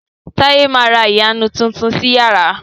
Taye má rà iyarun Titun sí iyàrá